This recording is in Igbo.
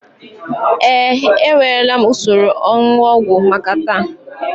Ee, ewerela m usoro onunu ogwu maka taa